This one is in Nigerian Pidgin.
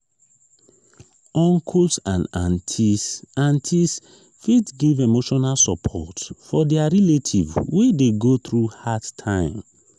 uncles and aunties aunties fit give emotional support for their relative wey de go through hard time